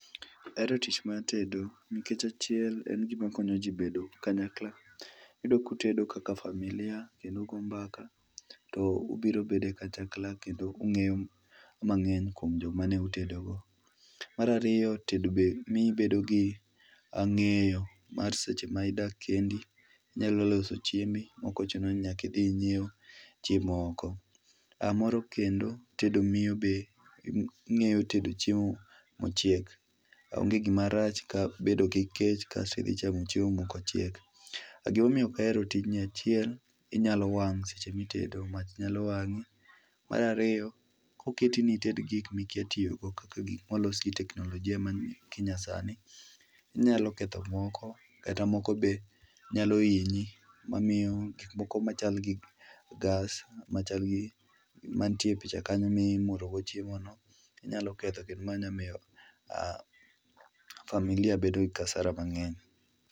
Ahero tich mar tedo nikech achiel en gima konyoji bedo kanyakla, iyudo ka utedo kaka familia kendo ugo mbaka to ubiro bedo kanyakla kendo ungeyo mangeny kuom jomane utedogo. Mar ariyo tedo be mi ibedo gi ngeyo mar seche ma idak kendi inyalo loso chiembi maok ochuno ni nyaka idhi inyiew chiemo oko, aah, moro kendo, tedo miyo be ingeyo tedo chiemo mochiek onge gima rach ka bedo gi kech kasto idhi chamo chiemo maok ochiek. Gima omiyo ok ahero tijni, achiel inyalo wang seche mitedo ,mach nyalo wangi, mar ariyokoketi ni ited gik mikia tiyo go kaka gik molos gi teknolojia ma kinyasani, inyalo ketho moko kata moko be nyalo hinyi mamiyo gik moko machal gi gas machal gi ,mantie picha kanyo ni mimuro go chiemo no nyalo ketho kendo nyalo miyo aah, familia bedo kasara mangeny